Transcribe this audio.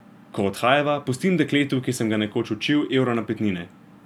Ko odhajava, pustim dekletu, ki sem ga nekoč učil, evro napitnine.